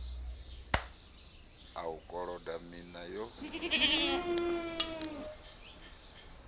a u koloda miṋa yo